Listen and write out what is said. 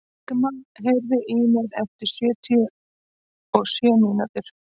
Ingimagn, heyrðu í mér eftir sjötíu og sjö mínútur.